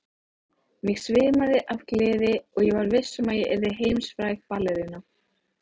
Mig svimaði af gleði og ég var viss um að ég yrði heimsfræg ballerína.